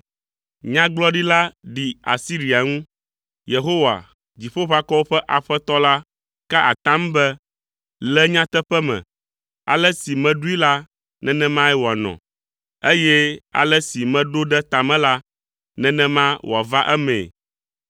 Nyagblɔɖi la ɖi Asiria ŋu. Yehowa, Dziƒoʋakɔwo ƒe Aƒetɔ la, ka atam be, “Le nyateƒe me, ale si meɖoe la, nenemae wòanɔ, eye ale si meɖo ɖe ta me la, nenema wòava emee.